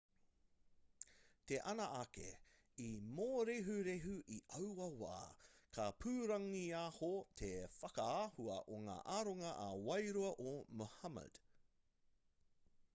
te ana ake i mōrehurehu i aua wā ka pūrangiaho te whakaahua o ngā aronga ā-wairua o muhammad